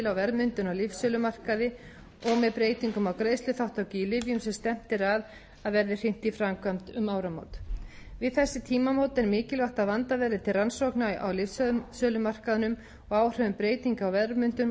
verðmyndun á lyfsölumarkaði og með breytingum á greiðsluþátttöku í lyfjum sem stefnt er á að verði hrint í framkvæmd um áramót við þessi tímamót er mikilvægt að vandað verði til rannsókna á lyfsölumarkaðnum og áhrifum breytinga á verðmyndun